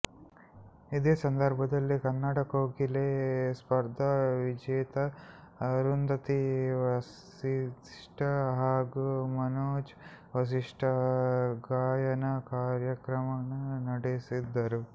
ಇದೇ ಸಂದರ್ಭದಲ್ಲಿ ಕನ್ನಡ ಕೋಗಿಲೆ ಸ್ಪರ್ಧಾ ವಿಜೇತೆ ಅರುಂಧತಿ ವಸಿಷ್ಠ ಹಾಗೂ ಮನೋಜ್ ವಸಿಷ್ಠ ಗಾಯನ ಕಾರ್ಯಕ್ರಮ ನಡೆಸಿದರು